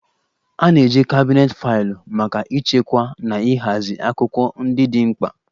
A na-eji kabinet faịlụ maka ịchekwa na ịhazi akwụkwọ ndị dị mkpa